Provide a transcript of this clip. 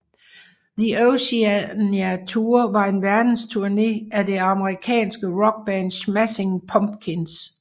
The Oceania Tour var en verdensturné af det amerikanske rockband Smashing Pumpkins